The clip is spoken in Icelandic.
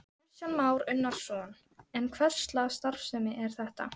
Kristján Már Unnarsson: En hverslags starfsemi er þetta?